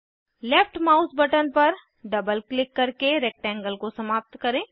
left mouse button पर double click करके rectangle को समाप्त करें